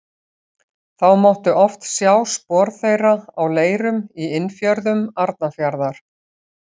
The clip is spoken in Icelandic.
Þá mátti oft sjá spor þeirra á leirum í innfjörðum Arnarfjarðar.